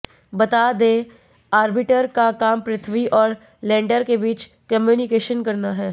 बता दें ऑर्बिटर का काम पृथ्वी और लैंडर के बीच कम्युनिकेशन करना है